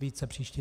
Více příště.